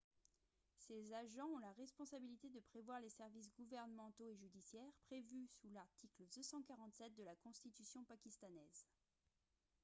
ces agents ont la responsabilité de prévoir les services gouvernementaux et judiciaires prévus sous l'article 247 de la constitution pakistanaise